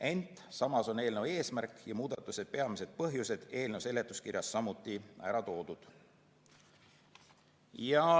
Ent samas on eelnõu eesmärk ja muudatuse peamised põhjused eelnõu seletuskirjas samuti ära toodud.